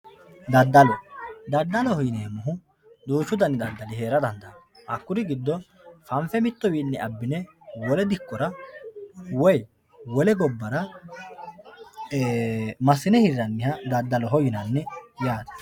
Dadalo dadaloho yinemo woyite duuchu dani dadalo heera dandaano hakuri gidoni fanfe woliwini abine wolewa hiraniha dadaloho yinani yaate